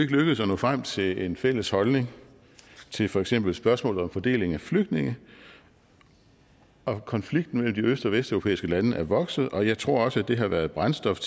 lykkedes at nå frem til en fælles holdning til for eksempel spørgsmålet om fordelingen af flygtninge og konflikten mellem de øst og vesteuropæiske lande er vokset og jeg tror også at det har været et brændstof